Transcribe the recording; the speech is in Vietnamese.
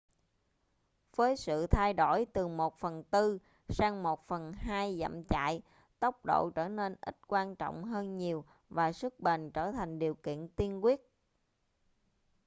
với sự thay đổi từ 1/4 sang 1/2 dặm chạy tốc độ trở nên ít quan trọng hơn nhiều và sức bền trở thành điều kiện tiên quyết